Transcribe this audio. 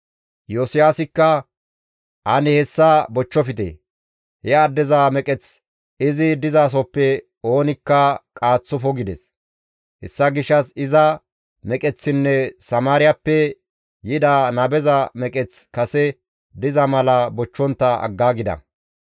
Iyosiyaasikka, «Ane hessa bochchofte; he addeza meqeth izi dizasohoppe oonikka qaaththofo» gides. Hessa gishshas iza meqeththinne Samaariyappe yida nabeza meqeththi kase diza mala bochchontta aggaagida.